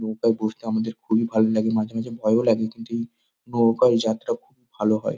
নৌকায় ঘুরতে আমাদের খুবই ভালো লাগে। মাঝে মাঝে ভয়ও লাগে কিন্তু এই নৌকায় যাত্রা খুব ভালো হয়।